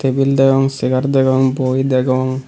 tebil degong chegar degong boi degong.